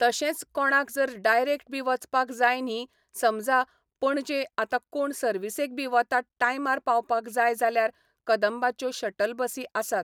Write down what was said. तशेच कोणाक जर डायरेक्ट बी वचपाक जाय न्ही समजा पणजे आता कोण सर्विसेक बी वता टायमार पावपाक जाय जाल्यार कदंबाच्यो शटल बसी आसात